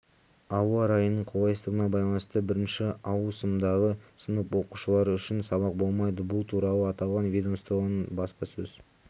ауа райының қолайсыздығына байланысты бірінші ауысымдағы сынып оқушылары үшін сабақ болмайды бұл туралы аталған ведомствоның баспасөз